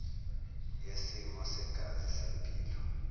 yesimo segazi sempilo